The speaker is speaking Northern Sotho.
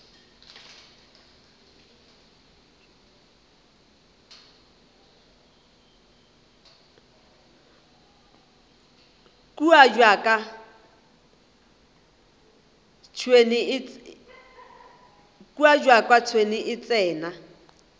kua bjaka tšhwene e tsena